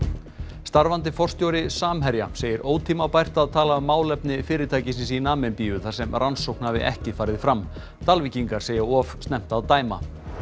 starfandi forstjóri Samherja segir ótímabært að tala um málefni fyrirtækisins í Namibíu þar sem rannsókn hafi ekki farið fram Dalvíkingar segja of snemmt að dæma